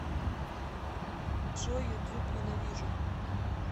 джой ютуб ненавижу